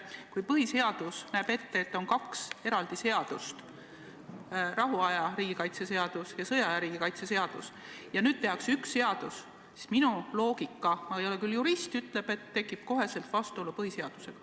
Kui põhiseadus näeb ette, et on kaks eraldi seadust, rahuaja riigikaitse seadus ja sõjaaja riigikaitse seadus, nüüd aga tehakse üks seadus, siis minu loogika – ma ei ole küll jurist – ütleb, et tekib kohe vastuolu põhiseadusega.